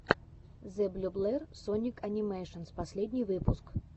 зэблюблер соник анимэйшенс последний выпуск